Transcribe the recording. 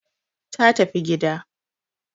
ta tafi gida